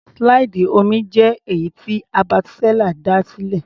Slide omí jẹ́ èyí tí Herbert Seller dá sílẹ̀.